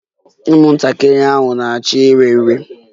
Ụmụntakịrị hà na-achọ iri nri?